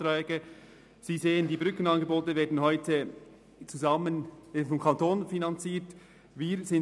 Sie sehen, dass die Brückenangebote heute vom Kanton finanziert werden.